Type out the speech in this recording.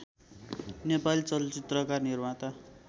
नेपाली चलचित्रका निर्माता